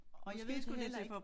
Jeg ved det heller ikke